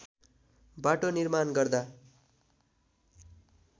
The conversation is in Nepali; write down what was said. बाटो निर्माण गर्दा